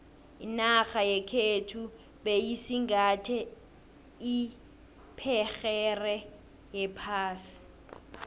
inarha yekhethu beyisingathe iphegere yephasi